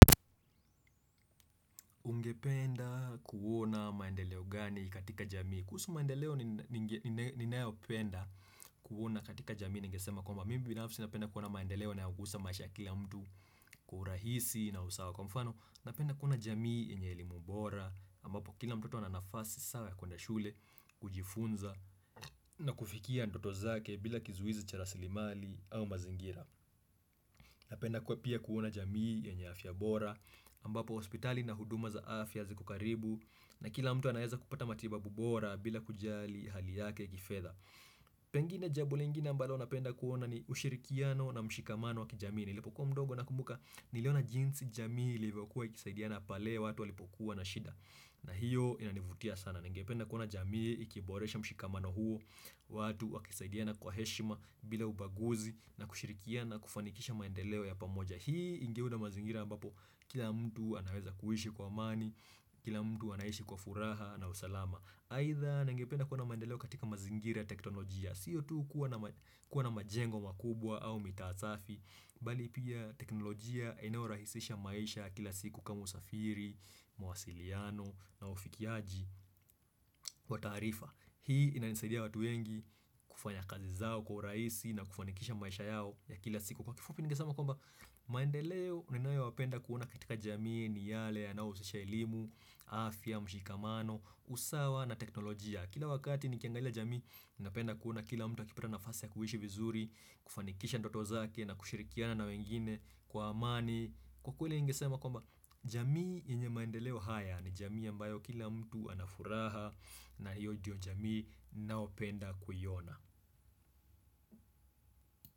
Ungependa kuona maendeleo gani katika jamii. Kuhusu maendeleo ninayopenda kuona katika jamii ningesema kwamba mimi binafsi napenda kuona maendeleo yanayogusa maisha kila mtu kwa urahisi na usawa kwa mfano. Napenda kuona jamii yenye elimu bora ambapo kila mtoto ana nafasi sawa ya kuenda shule, kujifunza na kufikia ndoto zake bila kizuizi cha rasilimali au mazingira. Napenda kwa pia kuona jamii yenye afya bora, ambapo hospitali na huduma za afya ziko karibu, na kila mtu anaeza kupata matibabu bora bila kujali hali yake kifedha. Pengine jambo lingine ambalo napenda kuona ni ushirikiano na mshikamano wa kijamii, nilipokuwa mdogo nakumbuka niliona jinsi jamii ilivyokuwa ikisaidiana pale watu walipokuwa na shida. Na hiyo inanivutia sana. Ningependa kuna jamii, ikiboresha mshikamano huu, watu wakisaidiana kwa heshima bila ubaguzi na kushirikiana kufanikisha maendeleo ya pamoja. Hii ingeunda mazingira ambapo kila mtu anaweza kuishi kwa amani, kila mtu anaishi kwa furaha na usalama. Aidha ningependa kuona maendeleo katika mazingira ya teknolojia Sio tu kuwa na majengo makubwa au mitaa safi Bali pia teknolojia inayorahisisha maisha ya kila siku kama usafiri, mawasiliano na ufikiaji wa taarifa Hii inanisaidia watu wengi kufanya kazi zao kwa urahisi na kufanikisha maisha yao ya kila siku Kwa kifupi ningesema kwamba maendeleo yanayowapenda kuona katika jamii ni yale yanayohusisha elimu, afya, mshikamano, usawa na teknolojia Kila wakati nikiangaila jamii Napenda kuona kila mtu akipata nafasi ya kuishi vizuri kufanikisha ndoto zake na kushirikiana na wengine Kwa amani Kwa kweli ningesema kwamba jamii yenye maendeleo haya ni jamii ambayo kila mtu ana furaha na hiyo ndiyo jamii ninaopenda kuiona.